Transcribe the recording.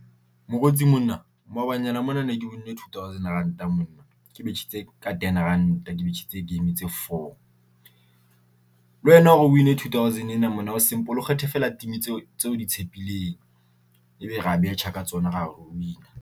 Mokgotsi monna, maobanyana mona ne ke win-ne two thousand ranta monna, ke betjhitse ka ten ranta, ke betjhitse game tse four. Le wena hore o win-e two thousand ena monna ho simple, o kgethe feela team-i tseo tseo di tshepileng, ebe ra betjha ka tsona ra win-a.